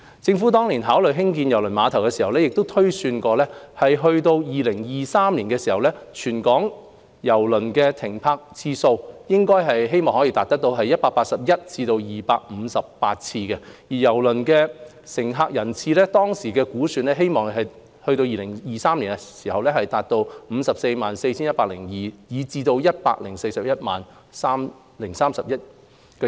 政府當年考慮興建郵輪碼頭時，曾推算到2023年，全港郵輪停泊次數希望可達到181次至258次，而郵輪乘客人次，當時的估算，希望到2023年可達到 564,102 至 1,041 031。